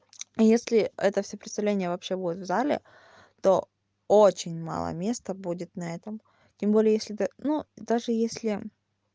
если это всё представление вообще будет в зале то очень мало места будет на этом тем более если ты ну даже если